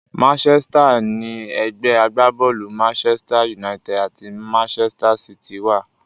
Manchester ni ẹgbẹ́ agbábọ́ọ̀lù Manchester United àti Manchester City wà.